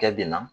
Kɛ bi na